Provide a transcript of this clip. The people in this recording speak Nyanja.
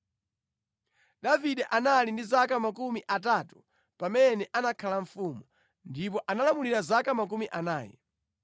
Davide anali ndi zaka makumi atatu pamene anakhala mfumu, ndipo analamulira zaka makumi anayi.